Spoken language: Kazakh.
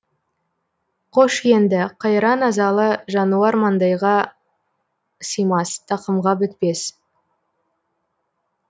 қош енді қайран азалы жануар маңдайға симас тақымға бітпес